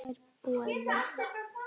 Mér er boðið.